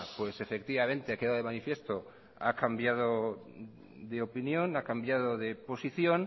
efectivamente ha quedado de manifiesto que ha cambiado de opinión ha cambiado de posición